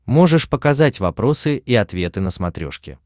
можешь показать вопросы и ответы на смотрешке